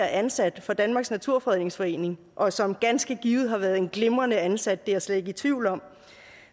ansat for danmarks naturfredningsforening og som ganske givet har været en glimrende ansat det er jeg slet ikke i tvivl om